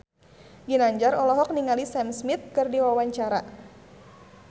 Ginanjar olohok ningali Sam Smith keur diwawancara